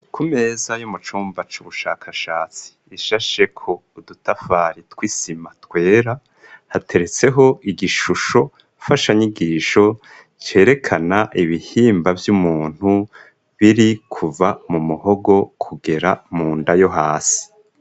Ku meza yo mucumba c'ubushakashatsi ishasheko udutafari tw'isima twera hateretseho igishusho fashanyigisho cerekana ibihimba vy'umuntu biri kuva mu muhogo kugera mu nda yo hasi.